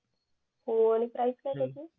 हो आणि प्राईस काय त्याच